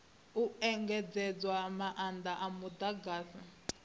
u engedzedzwa maanda a mudagasi